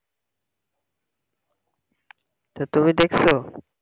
টা তুমি দেকসো?